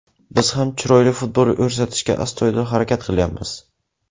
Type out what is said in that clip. Biz ham chiroyli futbol ko‘rsatishga astoydil harakat qilyapmiz.